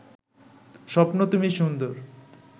স্বপ্ন তুমি সুন্দর